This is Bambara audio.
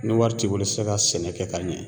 Ni wari t'i bolo i ti se ka sɛnɛ kɛ ka ɲɛ